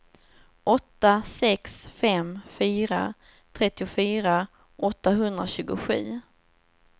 åtta sex fem fyra trettiofyra åttahundratjugosju